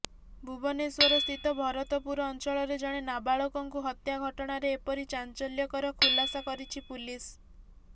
ଭୁବନେଶ୍ୱରସ୍ଥିତ ଭରତପୁର ଅଞ୍ଚଳରେ ଜଣେ ନାବାଳକଙ୍କୁ ହତ୍ୟା ଘଟଣାରେ ଏପରି ଚାଞ୍ଚଲ୍ୟକର ଖୁଲାସା କରିଛି ପୁଲିସ